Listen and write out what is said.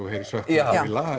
heyrir söknuð já